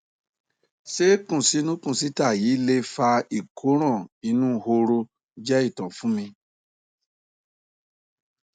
ṣé ikunsinu kunsita yìí lè fa ìkóràn inú horo ié ìtọ fún mi